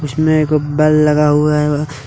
इसमें एक गो बेल लगा हुआ है।